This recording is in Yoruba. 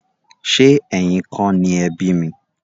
Ṣe ẹyìn kọ ni ẹ bi mi?